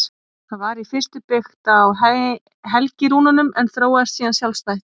Það var í fyrstu byggt á helgirúnunum en þróaðist síðan sjálfstætt.